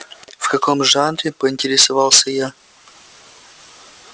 в каком жанре поинтересовался я